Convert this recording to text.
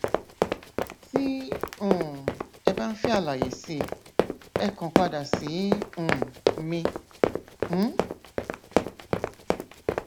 tí um ẹ bá ń fẹ àlàyé síi ẹ kàn padà sí um mi um